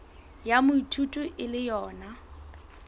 ya moithuti e le yona